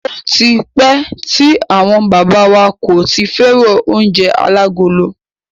Ó ti pẹ́ tí àwọn bàbá wa kò ti fẹ́ràn oúnjẹ alágolo.